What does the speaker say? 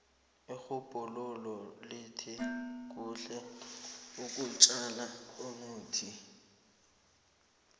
irhubhululo lithi kuhle ukutjala imithi